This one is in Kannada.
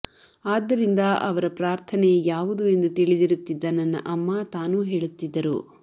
ಆದ್ದರಿಂದ ಅವರ ಪ್ರಾರ್ಥನೆ ಯಾವುದು ಎಂದು ತಿಳಿದಿರುತ್ತಿದ್ದ ನನ್ನ ಅಮ್ಮ ತಾನೂ ಹೇಳುತ್ತಿದ್ದರು